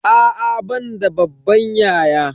A'a ban da babban yaya.